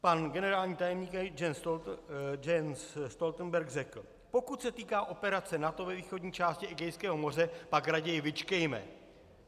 Pan generální tajemník Jens Stoltenberg řekl: "Pokud se týká operace NATO ve východní části Egejského moře, pak raději vyčkejme.